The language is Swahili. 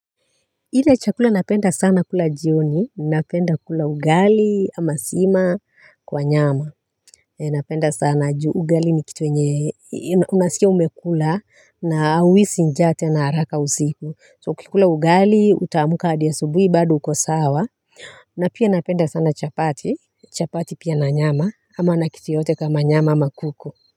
Ile chakula napenda sana kula jioni, napenda kula ugali ama sima kwa nyama. Napenda sana juu ugali ni kitu yenye unasikia umekula na hauhisi njaa tena haraka usiku so ukikula ugali utaamka hadi asubuhi bado uko sawa. Na pia napenda sana chapati, chapati pia na nyama ama na kitu yoyote kama nyama ama kuku.